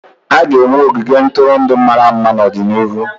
A ga-enwe ogige ntụrụndụ mara mma n'ọdịnihu.